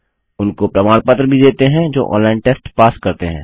उनको प्रमाण पत्र भी देते हैं जो ऑनलाइन टेस्ट पास करते हैं